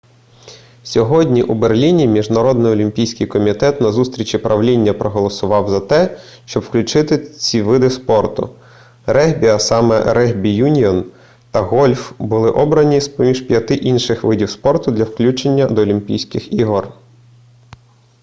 сьогодні у берліні міжнародний олімпійський комітет на зустрічі правління проголосував за те щоб включити ці види спорту регбі а саме регбі-юніон та гольф були обрані з-поміж п'яти інших видів спорту для включення до олімпійських ігор